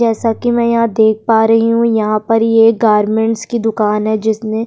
जैसा कि मैं यहां देख पा रही हूं यहां पर ये गारमेंट्स की दुकान है जिसमें --